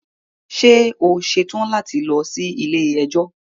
Ṣe o ṣetan lati lọ si ile-ẹjọ?